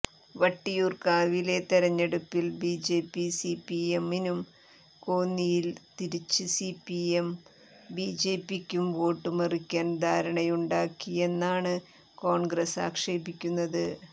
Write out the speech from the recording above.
വട്ടിയൂർക്കാവിലെ തെരഞ്ഞെടുപ്പിൽ ബിജെപി സിപിഎമ്മിനും കോന്നിയിൽ തിരിച്ച് സിപിഎം ബിജെപിക്കും വോട്ടു മറിക്കാൻ ധാരണയുണ്ടാക്കിയെന്നാണ് കോൺഗ്രസ് ആക്ഷേപിക്കുന്നത്